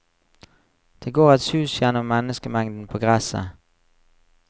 Det går et sus gjennom menneskemengden på gresset.